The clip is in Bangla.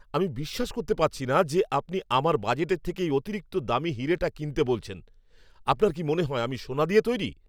আমি বিশ্বাস করতে পারছি না যে আপনি আমার বাজেটের থেকে এই অতিরিক্ত দামি হিরেটা কিনতে বলছেন! আপনার কি মনে হয় আমি সোনা দিয়ে তৈরি?